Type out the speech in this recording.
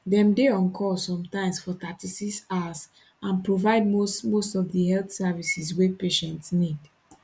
dem dey on call sometimes for 36 hours and provide most most of di health services wey patients need